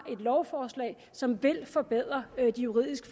lovforslag som vil forbedre de juridisk